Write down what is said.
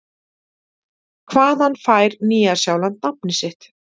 Hvaðan fær Nýja-Sjáland nafnið sitt?